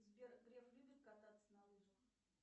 сбер греф любит кататься на лыжах